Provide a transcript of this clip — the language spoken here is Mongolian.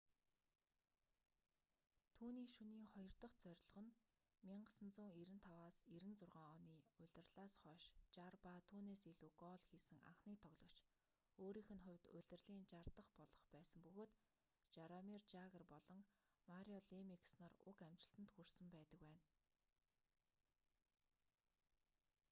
түүний шөнийн хоёр дах зорилго нь 1995-96 оны улирлаас хойш 60 ба түүнээс илүү гоол хийсэн анхны тоглогч өөрийнх нь хувьд улирлын 60 дах болох байсан бөгөөд жаромир жагр болон марио лемиекс нар уг амжилтанд хүрсэн байдаг байна